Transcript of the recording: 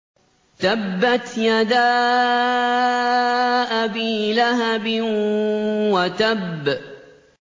تَبَّتْ يَدَا أَبِي لَهَبٍ وَتَبَّ